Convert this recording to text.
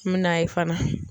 N mi na ye fana